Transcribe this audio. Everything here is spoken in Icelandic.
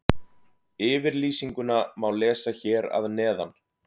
Yfirlýsinguna má lesa hér að neðan.